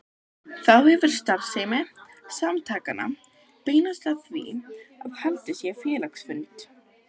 Þá hefur starfsemi samtakanna beinst að því að halda félagsfundi.